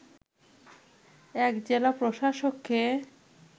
১ জেলা প্রশাসককে